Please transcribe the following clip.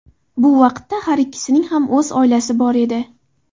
Bu vaqtda har ikkisining ham o‘z oilasi bor edi.